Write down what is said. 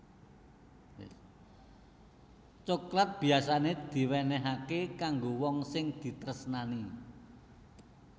Coklat biyasané diwénéhaké kanggo wong sing ditresnani